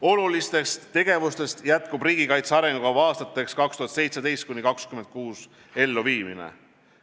Olulistest tegevustest jätkub riigikaitse arengukava aastateks 2017–2026 elluviimine.